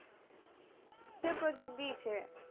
কিসের project দিয়েছে